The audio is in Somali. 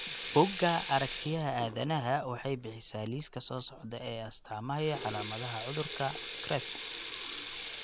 Buugga Aragtiyaha Aadanaha waxay bixisaa liiska soo socda ee astamaha iyo calaamadaha cudurka CREST.